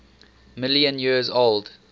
million years old